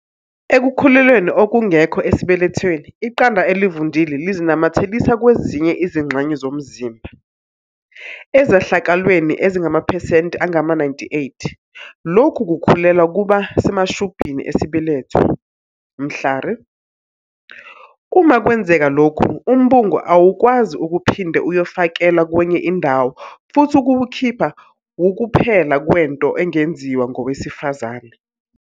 "Ekukhulelweni okungekho esibelethweni, iqanda elivundile lizinamathelisa kwezinye izingxenye zomzimba. Ezehlakalweni ezingamaphesenti angama-98, lokhu kukhulelwa kuba semashubhini esibeletho. Mhlari. Uma kwenzeka lokhu, umbungu awukwazi ukuphinde uyofakelwa kwenye indawo futhi ukuwukhipha wukuphela kwento engenziwa ngowesifazane."